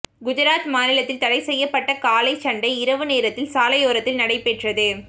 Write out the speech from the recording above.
குஜராத் மாநிலத்தில் தடை செய்யப்பட்ட காளை சண்டை இரவு நேரத்தில் சாலையோரத்தில் நடைபெற்றது